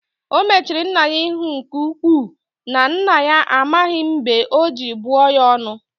O mechiri nna ya ihu nke-uku, na nna ya amaghi mb͕e ọ ji buo ya onu.